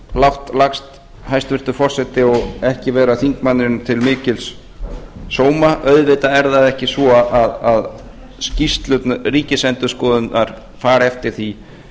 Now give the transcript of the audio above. lágt lagst hæstvirtur forseti og ekki vera þingmanninum til mikils sóma auðvitað er það ekki svo að skýrslur ríkisendurskoðunar fari eftir því